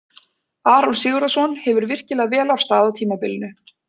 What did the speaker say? Aron Sigurðarson hefur virkilega vel af stað á tímabilinu.